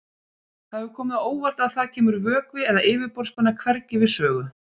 Það hefur komið á óvart að þar kemur vökvi eða yfirborðsspenna hvergi við sögu.